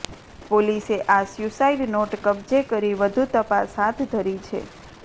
પોલીસે આ suicide note કબજે કરી વધુ તપાસ હાથ ધરી છે